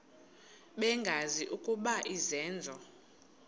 bengazi ukuba izenzo